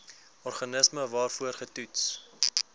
organisme waarvoor getoets